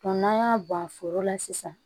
n'an y'a bɔn foro la sisan